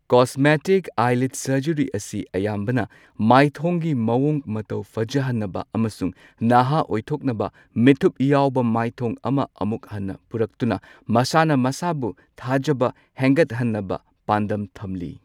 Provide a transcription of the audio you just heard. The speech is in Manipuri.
ꯀꯣꯁꯃꯦꯇꯤꯛ ꯑꯥꯏꯂꯤꯗ ꯁꯔꯖꯔꯤ ꯑꯁꯤ ꯑꯌꯥꯝꯕꯅ ꯃꯥꯏꯊꯣꯡꯒꯤ ꯃꯋꯣꯡ ꯃꯇꯧ ꯐꯖꯍꯟꯅꯕ ꯑꯃꯁꯨꯡ ꯅꯍꯥ ꯑꯣꯏꯊꯣꯛꯅꯕ ꯃꯤꯠꯊꯨꯞ ꯌꯥꯎꯕ ꯃꯥꯏꯊꯣꯡ ꯑꯃ ꯑꯃꯨꯛ ꯍꯟꯅ ꯄꯨꯔꯛꯇꯨꯅ ꯃꯁꯥꯅ ꯃꯁꯥꯕꯨ ꯊꯥꯖꯕ ꯍꯦꯟꯒꯠꯍꯟꯅꯕ ꯄꯥꯟꯗꯝ ꯊꯝꯂꯤ꯫